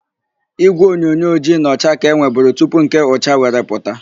Ígwèonyonyo ojii na ọcha ka e nweburu tupu nke ụcha were pụta.